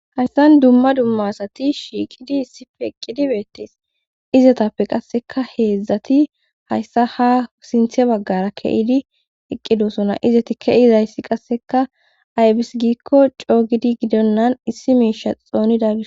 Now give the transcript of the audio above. Hayssan dumma dumma asati shiiqidii issippe eqqidii beetees izetappe qasseka heedzdzati hayssa ha sinththe baggara keyidi eqqidosona izeti kei'zayssi qasseka aybis giikko coogidi gidonnan issi miishsha xoonida gishas